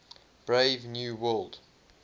brave new world